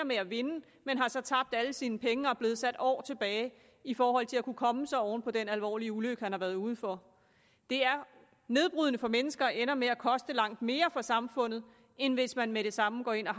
med at vinde men har så tabt alle sine penge og er blevet sat år tilbage i forhold til at kunne komme sig oven på den alvorlige ulykke han har været ude for det er nedbrydende for mennesker og ender med at koste langt mere for samfundet end hvis man med det samme går ind og